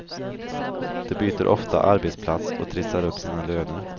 De byter ofta arbetsplats och trissar upp sina löner.